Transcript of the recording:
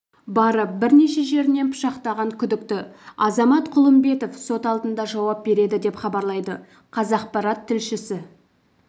барып бірнеше жерінен пышақтаған күдікті азамат құлымбетов сот алдында жауап береді деп хабарлайды қазақпарат тілшісі